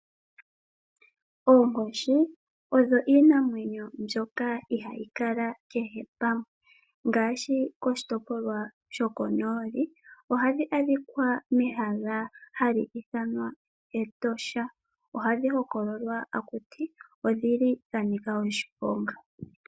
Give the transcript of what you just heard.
Oonkoshi odho iinamwenyo mbyoka ihayi kala kehe pamwe ngaashi koshitopolwa shokonooli ohadhi adhika mehala hali ithanwa Etosha, ohadhi hokololwa takuti odhi li dhanika oshiponga.